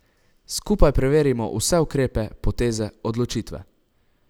Skupaj preverimo vse ukrepe, poteze, odločitve...